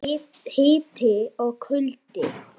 Hiti og kuldi.